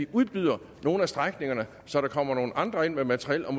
udbyder nogle af strækningerne så der kommer nogle andre ind med materiel og